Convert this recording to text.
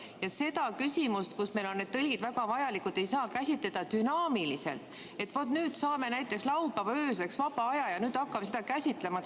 Ja seda küsimust, kus meil on need on väga vajalikud, ei saa käsitleda dünaamiliselt, et vaat, nüüd saame näiteks laupäeva ööseks vaba aja ja hakkame seda käsitlema.